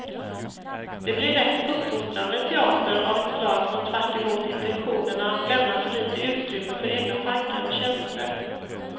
Det blir lätt uppfostrande teater av ett slag som tvärtemot intentionerna lämnar för litet utrymme för egna tankar och känslor.